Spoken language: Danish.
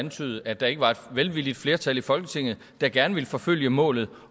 antyde at der ikke var et velvilligt flertal i folketinget der gerne ville forfølge målet